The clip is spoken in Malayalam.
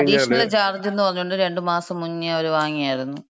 അഡീഷണൽ ചാർജ് എന്ന് പറഞ്ഞിട്ട് രണ്ട് മാസം മുന്നെ അവര് വാങ്ങിയാരുന്നു.